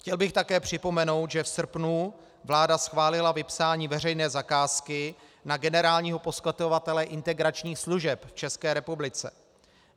Chtěl bych také připomenout, že v srpnu vláda schválila vypsání veřejné zakázky na generálního poskytovatele integračních služeb v České republice.